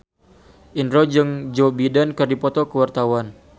Indro jeung Joe Biden keur dipoto ku wartawan